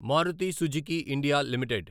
Maruti Suzuki India limited